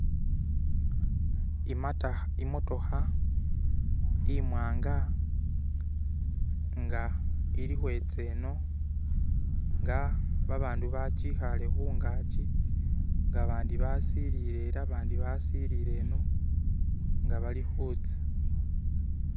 Imotoka imwanga nga ilikweza eno ela abantu bajikaale kungaji nga bandi basililile ela bandi basililile eno nga balikuza.